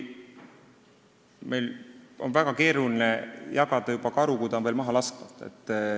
Jällegi, on väga keeruline jagada karu nahka, kui karu on veel maha laskmata.